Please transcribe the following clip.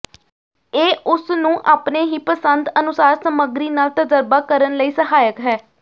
ਇਹ ਉਸ ਨੂੰ ਆਪਣੇ ਹੀ ਪਸੰਦ ਅਨੁਸਾਰ ਸਮੱਗਰੀ ਨਾਲ ਤਜਰਬਾ ਕਰਨ ਲਈ ਸਹਾਇਕ ਹੈ